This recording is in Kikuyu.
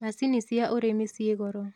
Macini cia ũrĩmi ciĩ goro